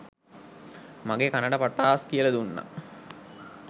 මගෙ කනට පටාස් කියලා දුන්නා.